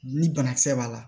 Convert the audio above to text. Ni banakisɛ b'a la